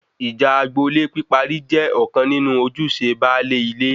Ìjà agbo-ilé píparí jẹ ọ̀kan nínú ojúṣe baálé ilé